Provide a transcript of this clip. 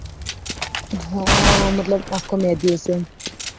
હ મતલબ આખો મેહદી હશે